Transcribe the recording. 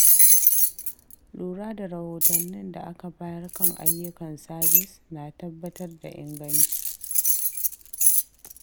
Lura da rahotannin da aka bayar kan ayyukan sabis na tabbatar da inganci.